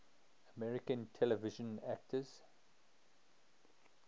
american television actors